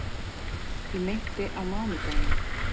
Ég meinti á mánudaginn.